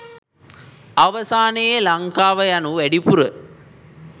අවසානයේ ලංකාව යනු වැඩිපුර